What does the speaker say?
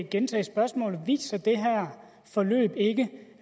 gentage spørgsmålet viser det her forløb ikke